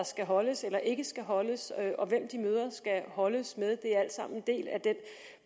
skal holdes eller ikke skal holdes og hvem de møder skal holdes med det er alt sammen en del af den